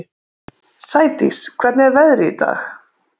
Sædís, hvernig er veðrið í dag?